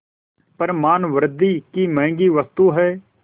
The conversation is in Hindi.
पर मानवृद्वि की महँगी वस्तु है